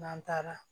N'an taara